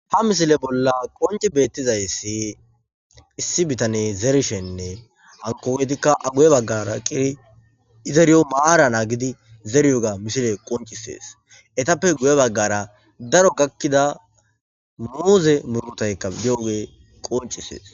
Ha misile bolla qonccii bettizayssi issi bittaney zerishen a guye baggara eqidi zeriyo maara nagidii zeriyoga misiley qonccises eetta guye baggara daro muuzey gakidayssi beettes